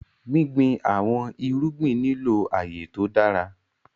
Gbìngbìn awọn èrùgbìn ní ilọ aaye tó dára.